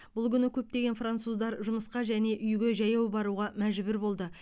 бұл күні көптеген француздар жұмысқа және үйге жаяу баруға мәжбүр болды